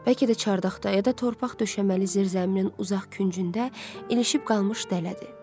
Bəlkə də çardaqda ya da torpaq döşəməli zirzəminin uzaq küncündə ilişib qalmış dələdir.